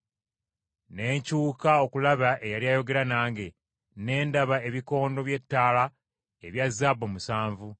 Ne nkyuka okulaba eyali ayogera nange, ne ndaba ebikondo by’ettaala ebya zaabu musanvu.